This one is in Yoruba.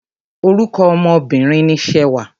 Orúkọ ọmọ Obìnrin ni Ṣewà.